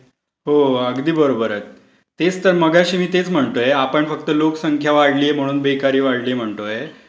हो, अगदी बरोबर आहे. तेच तर. मागाशी मी तेच म्हणतोय. आपण फक्त लोकसंख्या वाढली म्हणून बेकारी वाढली म्हणतोय.